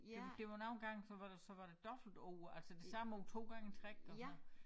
Det var det var nogle gange så var der så var der dobbeltord altså det samme ord 2 gange i træk og sådan noget